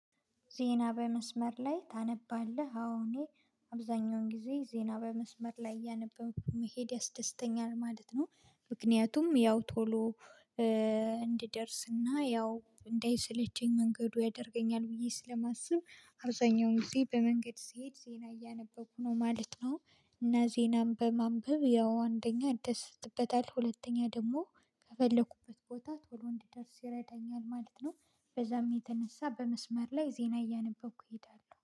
ዜና በመስመር ላይ ታነባለህ አዎ እኔ አብዛኛውን ጊዜ ዜና በመስመር ላይ እያነበብኩኝ መሄድ ያስደስተኛል ማለት ነው። ምክንያቱም ያው ቶሎ እንድደርስና ያው እንዳይሰለቸኝ መንገዱ ያደርገኛል ብዬ ስለማስብ አብዛኛውን ጊዜ በመንገድ ስሄድ ዜና እያነበብኩ ነው ማለት ነው። እና ዜናም በማንበብ ያው አንደኛ እንደሰትበታለሁ ሁለተኛ ደግሞ ከፈለኩበት ቦታ ቶሎ እንድደርስ ይረዳኛል ማለት ነው። በዛም የተነሳ በመስመር ላይ ዜና እያነበብኩ እሄዳለሁ